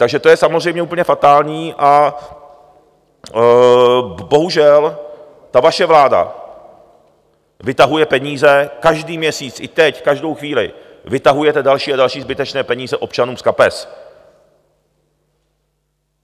Takže to je samozřejmě úplně fatální a bohužel ta vaše vláda vytahuje peníze každý měsíc, i teď, každou chvíli, vytahujete další a další zbytečné peníze občanům z kapes.